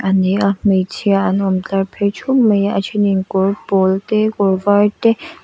a ni a hmeichhia an awm tlar phei thup mai a a then in kawr pawl te kawr var te --